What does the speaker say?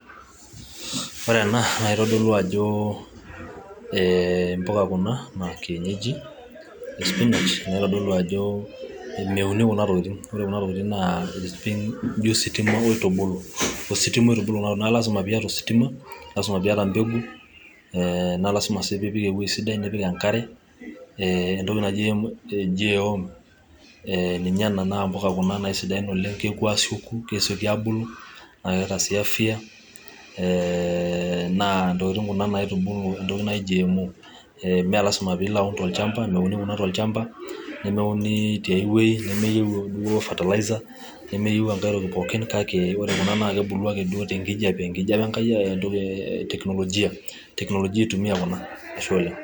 ore ena naa kitodolu ajo ipuka kuna naakienyeji, spinach naaitodolu ajo meuni kuna tokitin. ore kuna tokitin naa ijo ositima oitubulu. ositima oitubuu kuna tokitin naa lasima pee iyata ositima, lasima pee iyata mbegu. naa lasima sii pee ipik ewueji sidai, nipik enkare. entoki naji gmo ninye ena naa mpuka kuna sidain oleng, keku asioki, kesioki aabulu, naa keeta sii afya ee naa intokitin kuna naaitubulu entoki naji gmo. mme lasima pee ilo aun kuna tolchampa, meeuni kuna tolchampa, nemeuni tiae wueji, nemeyieu [csc]fertilize, nemeyieu enkae toki ake duooo pookin ore kuna naa kebulu ake te nkijiape, enkijiape Enkai ake naitubulu, ee teknologia eitumia kuna .ashe oleng.